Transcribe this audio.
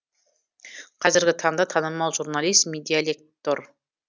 қазіргі таңда танымал журналист медиалектор